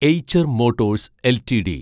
Eicher Motors LTD